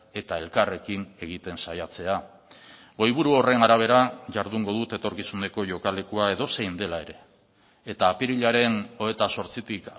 eta elkarrekin egiten saiatzea goiburu horren arabera jardungo dut etorkizuneko jokalekua edozein dela ere eta apirilaren hogeita zortzitik